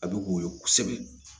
A bɛ woyo kosɛbɛ